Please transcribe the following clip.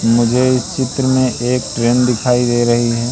मुझे इस चित्र में एक ट्रेन दिखाई दे रही है।